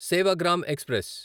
Sevagram express